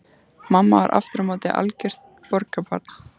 Mamma var aftur á móti algjört borgarbarn.